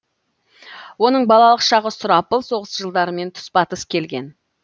оның балалық шағы сұрапыл соғыс жылдарымен тұспа тұс келген